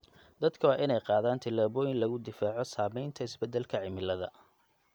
Dadka waa in ay qaadaan tallaabooyin lagu difaaco saamaynta isbedelka cimilada.